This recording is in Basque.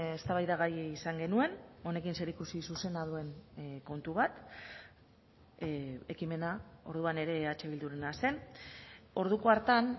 eztabaidagai izan genuen honekin zerikusi zuzena duen kontu bat ekimena orduan ere eh bildurena zen orduko hartan